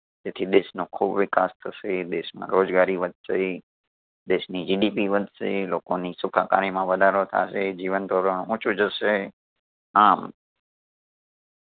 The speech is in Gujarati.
તેથી દેશનો ખૂબ વિકાસ થશે, દેશમાં રોજગારી વધશે, દેશની GDP વધશે, લોકોની સુખાકારી માં વધારો થાશે, જીવનધોરણ ઊંચું જશે, આમ